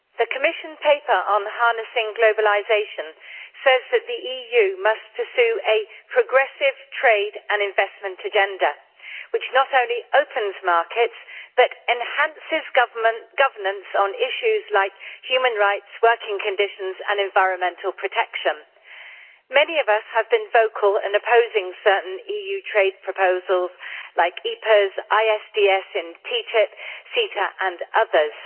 Mr President, the Commission paper on harnessing globalisation says that the EU must pursue a progressive trade and investment agenda which not only opens markets but enhances governance on issues like human rights, working conditions and environmental protection. Many of us have been vocal in opposing certain EU trade proposals like EPAs, ISDS and TTIP, CETA and others.